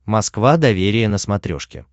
москва доверие на смотрешке